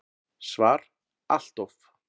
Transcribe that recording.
SVAR Allt of.